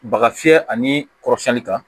Baga fiyɛ ani kɔrɔsiyɛnni kan